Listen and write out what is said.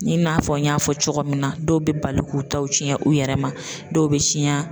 I n'a fɔ n y'a fɔ cogo min na, dɔw bɛ bali k'u taw tiɲɛ u yɛrɛ ma, dɔw bɛ siɲa.